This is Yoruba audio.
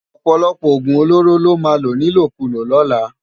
Òpòlòpò ógún ólórô lò má ló nilókúló lòlá